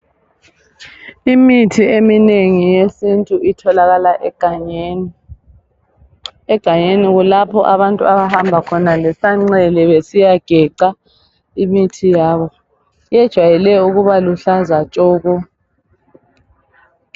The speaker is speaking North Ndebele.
imithi eminengi eyesintu itholakala egangeni egangeni kulapho abantu abahamba khona lesancele besiyageca imithi yabo iyejwayele ukuba luhlaza tshoko